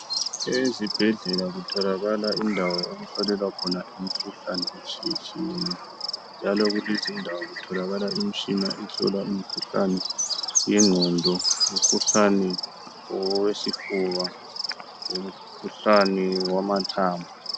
Ezibhedlela kutholakala indawo okuhlolelwa khona imikhuhlane etshiye tshiyeneyo, njalo kulezindawo kutholakala imitshina ehlola imikhuhlane yengqondo, umkhuhlane owesifuba, umkhuhlane owamathambo.